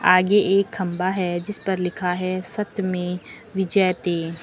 आगे एक खंभा है जिस पर लिखा है सत्यमेव जयते।